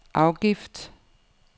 afgift